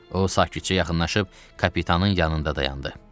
O sakitcə yaxınlaşıb kapitanın yanında dayandı.